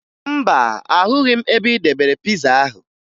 Mba, ahụghị m ebe ị debere piza ahụ